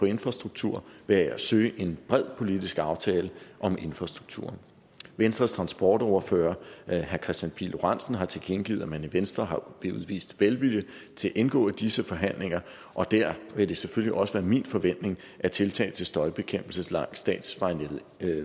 infrastruktur ved at søge en bred politisk aftale om infrastrukturen venstre transportordfører herre kristian pihl lorentzen har tilkendegivet at man i venstre vil udvise velvilje til at indgå i disse forhandlinger og der vil det selvfølgelig også være min forventning at tiltag til støjbekæmpelse langs statsvejnettet